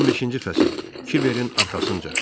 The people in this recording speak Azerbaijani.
15-ci fəsil: Kiberin arxasınca.